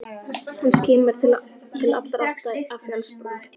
Hann skimar til allra átta af fjallsbrún.